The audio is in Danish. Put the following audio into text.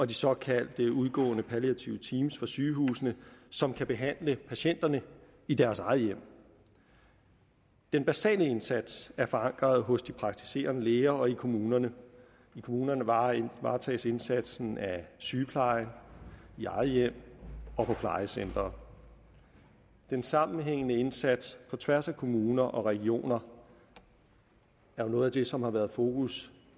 de såkaldte udgående palliative teams fra sygehusene som kan behandle patienterne i deres eget hjem den basale indsats er forankret hos de praktiserende læger og i kommunerne i kommunerne varetages indsatsen af sygeplejen i eget hjem og på plejecentre den sammenhængende indsats på tværs af kommuner og regioner er jo noget af det som har været i fokus